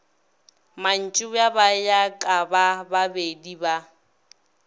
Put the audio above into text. mantšiboa ba ya kabababedi ba